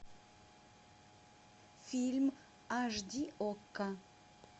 фильм аш ди окко